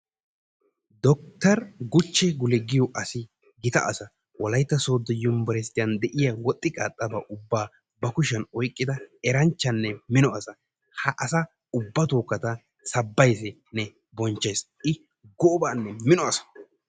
Docter Guche Gule yaagiyoo asi gita asa wolayitta sooddo yumburshiyan de"iyaa woxxi qaaxxaba ubbaa ba kushiyan oyiqqida eranchchanne mino asa. Ha asa ubbatookka ta sabbayissinne bonchchayiis. I goobanne mino asa.